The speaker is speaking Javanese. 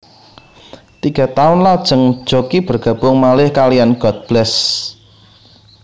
Tiga taun lajeng Jockie bergabung malih kaliyan God Bless